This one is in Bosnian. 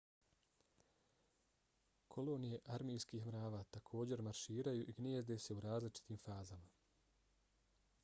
kolonije armijskih mrava također marširaju i gnijezde se u različitim fazama